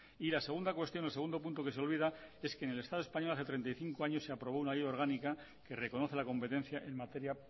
y la segunda cuestión o el segundo punto que se olvida es que en el estado español hace treinta y cinco años se aprobó una ley orgánica que reconoce la competencia en materia